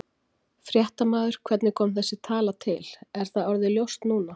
Fréttamaður: Hvernig kom þessi tala til, er það orðið ljóst núna?